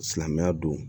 Silamɛya don